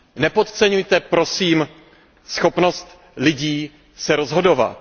Nepodceňujte, prosím, schopnost lidí se rozhodovat.